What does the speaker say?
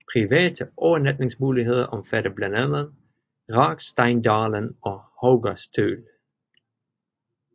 Private overnatningsmuligheder omfatter blandt andet Raggsteindalen og Haugastøl